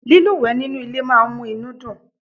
lílúwèé nínú ilé máa n mú inú dùn